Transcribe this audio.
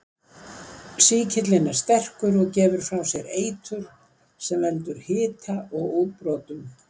Sýkillinn er sterkur og gefur frá sér eitur sem veldur hita og útbrotum.